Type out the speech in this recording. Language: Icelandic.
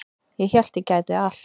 Ég hélt að ég gæti allt